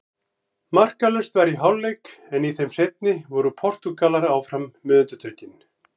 Markalaust var í hálfleik en í þeim seinni voru Portúgalar áfram með undirtökin.